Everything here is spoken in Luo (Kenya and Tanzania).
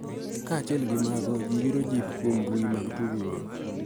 Kaachiel gi mago, ji yudo jip kuom mbui mag tudruok